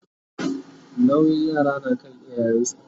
nauyin yara na kan iyayen su